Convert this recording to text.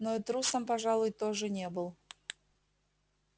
но и трусом пожалуй тоже не был